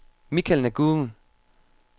Michael Nguyen